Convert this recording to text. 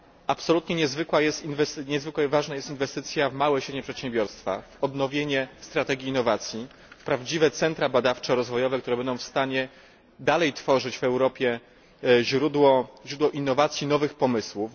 Absolutnie niezwykle ważna jest inwestycja w małe i średnie przedsiębiorstwa, odnowienie strategii innowacji, prawdziwe centra badawczo rozwojowe, które będą w stanie dalej tworzyć w Europie źródło innowacji i nowych pomysłów.